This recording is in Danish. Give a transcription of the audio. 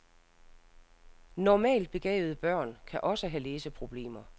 Normalt begavede børn kan også have læseproblemer.